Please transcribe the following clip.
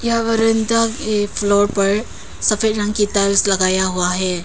यह वरांदा के फ्लोर पर सफेद रंग की टाइल्स लगाया हुआ है।